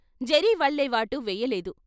జరీ వల్లెవాటూ వేయలేదు.